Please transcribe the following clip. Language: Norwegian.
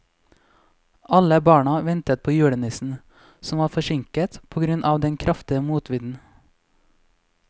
Alle barna ventet på julenissen, som var forsinket på grunn av den kraftige motvinden.